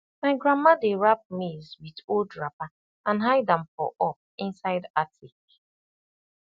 my grandma dey wrap maize with old wrapper and hide am for up inside attic